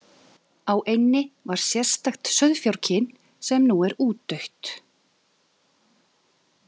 Á eynni var sérstakt sauðfjárkyn sem nú er útdautt.